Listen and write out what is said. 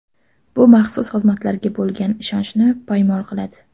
Bu maxsus xizmatlarga bo‘lgan ishonchni poymol qiladi”.